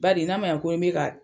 Badi n'a ma ɲɛ ko n bi ka